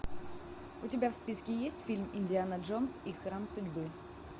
у тебя в списке есть фильм индиана джонс и храм судьбы